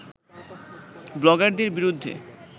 ব্লগারদের বিরুদ্ধে